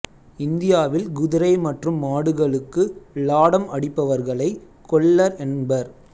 இந்தியாவில் குதிரை மற்றும் மாடுகளுக்கு லாடம் அடிப்பவர்களை கொல்லர் என்பர்